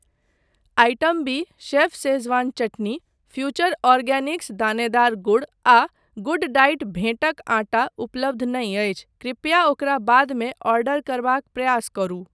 Item बी chef Schezwan चटनी, future organics दानेदार गुड़ आ गुडडाइट भेँटक आटा उपलब्ध नहि अछि, कृपया ओकरा बादमे ऑर्डर करबाक प्रयास करू।